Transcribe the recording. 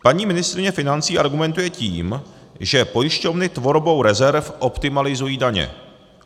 Paní ministryně financí argumentuje tím, že pojišťovny tvorbou rezerv optimalizují daně.